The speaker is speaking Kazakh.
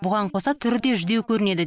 бұған қоса түрі де жүдеу көрінеді